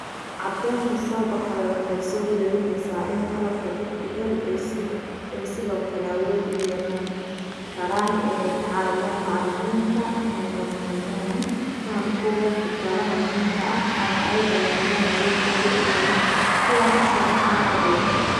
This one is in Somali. Caddaynta soo baxday waxay soo jeedinaysaa in qalabka DPL ay sidoo kale awood u yeelan karaan inay ka caawiyaan macallimiinta inay horumariyaan fahamkooda fikradaha muhiimka ah, ama ay ballaariyaan awooddooda inay kuwan u sharxaan ardayda.